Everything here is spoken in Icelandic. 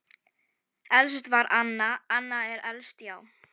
Elst var Anna, Anna er elst, já.